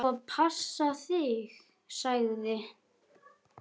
Ég á að passa þig, sagði